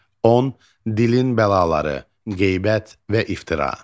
10. Dilin bəlaları, qeybət və iftira.